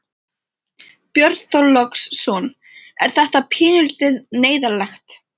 Björn Þorláksson: Er þetta pínulítið neyðarlegt?